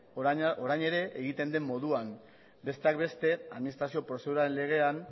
orain ere egiten den moduan besteak beste administrazio prozeduraren legean